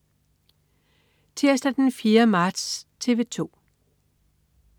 Tirsdag den 4. marts - TV 2: